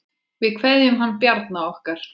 Við kveðjum hann Bjarna okkar.